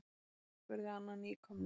spurði Anna nýkomna.